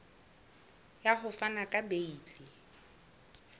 ya ho fana ka beile